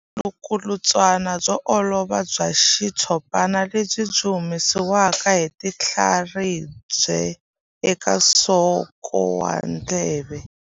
Vulukulutswana byo olova bya xitshopana lebyi byi humesiwaka hi tinhlaribya eka nsoko wa ndleve.